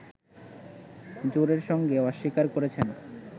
জোরের সঙ্গে অস্বীকার করেছেন